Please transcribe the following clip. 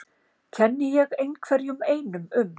Kenni ég einhverjum einum um?